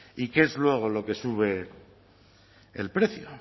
y qué es luego lo que sube el precio